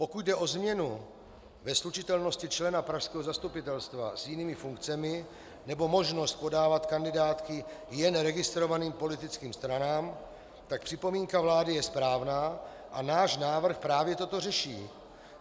Pokud jde o změnu ve slučitelnosti člena pražského zastupitelstva s jinými funkcemi nebo možnost podávat kandidátky jen registrovaným politickým stranám, pak připomínka vlády je správná a náš návrh právě toto řeší.